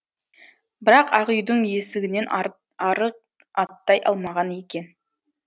бірақ ақ үйдің есігінен ары ары аттай алмаған екен